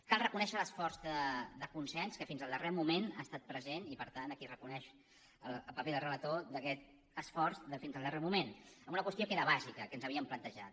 cal reconèixer l’esforç de consens que fins al darrer moment ha estat present i per tant aquí es reconeix el paper del relator d’aquest esforç fins al darrer moment en una qüestió que era bàsica que ens havíem plantejat